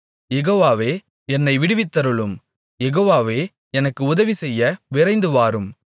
யெகோவாவே என்னை விடுவித்தருளும் யெகோவாவே எனக்கு உதவிசெய்ய விரைந்துவாரும்